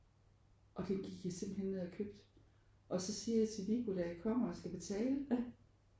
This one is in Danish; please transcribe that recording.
Og det gik jeg simpelthen ned og købte og så siger jeg til Viggo der jeg kommer og skal betale